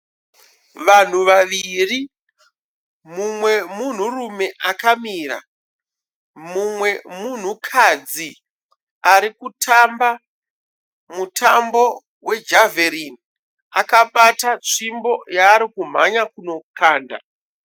Vanhu vaviri mumwe munhurume akamira. Mumwe munhukadzi ari kutamba mutambo wejavheringi akabata tsvimbo yaari kumhanya kundokanda.